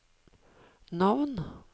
navn